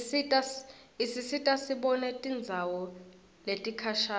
isisita sibone tindzawo letikhashane